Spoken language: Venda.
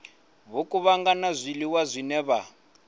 vho kuvhanganya zwiḽiwa zwine vha